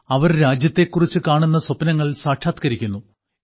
അവർ രാജ്യത്തെക്കുറിച്ച് കാണുന്ന സ്വപ്നങ്ങൾ സാക്ഷാത്കരിക്കുന്നു